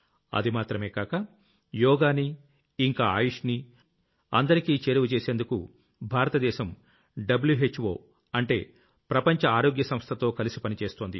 అది మాత్రమే కాక యోగాని ఇంకా ఆయుష్ ని అందరికీ చేరువ చేసేందుకు భారత దేశం WHOఅంటే వర్ల్డ్ హెల్త్ ఆర్గనైజేషన్ తో కలిసి పనిచేస్తోంది